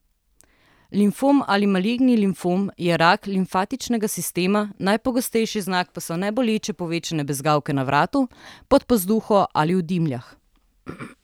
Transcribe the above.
Limfom ali maligni limfom je rak limfatičnega sistema, najpogostejši znak pa so neboleče povečane bezgavke na vratu, pod pazduho ali v dimljah.